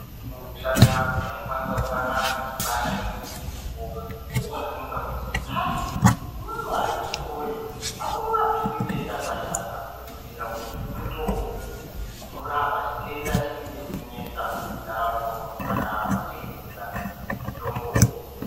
Munoshame anhu unokwanisa kusangana nechigwasha chinenga chiripo woabvunza kuti hai imwi akiti woye amukabvisi ngeyi kagwasha aka okubhiira kuti mutombo unorapa xvitenda chinenge chichinesa muntaraunda umo saka vanochengetedza mutombo uyu.